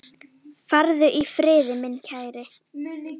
Farðu í friði, minn kæri.